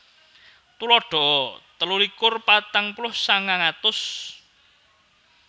Tuladha telu likur patang puluh sangang atus